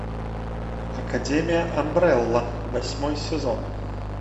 академия амбрелла восьмой сезон